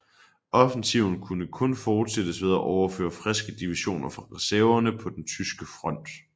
Offensiven kunne kun fortsættes ved at overføre friske divisioner fra reserverne på den tyske front